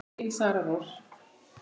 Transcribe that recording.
Þín Sara Rós.